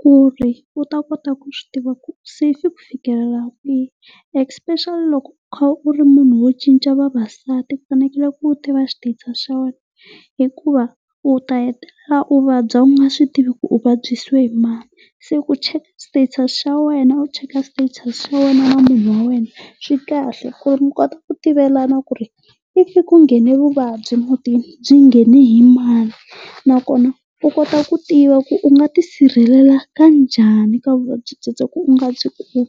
ku ri u ta kota ku swi tiva ku se kwihi. Especially loko u kha u ri munhu wo cinca vavasati ku fanekele ku u tiva status xa wena hikuva u ta hetelela u vabya u nga swi tivi ku u vabyisiwe hi mani. Se ku cheka status xa wena u cheka status xa wena na munhu wa wena swi kahle ku ri mi kota ku tivelana ku ri if kunghene vuvabyi mutini byi nghene hi mani nakona u kota ku tiva ku u nga ti sirhelela kanjhani ka vuvabyi byebyo ku u nga byi kumi.